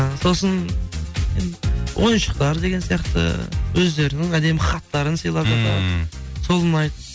і сосын ойыншықтар деген сияқты өздерінің әдемі хаттарын сыйлап жатады ммм сол ұнайды